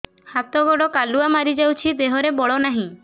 ହାତ ଗୋଡ଼ କାଲୁଆ ମାରି ଯାଉଛି ଦେହରେ ବଳ ନାହିଁ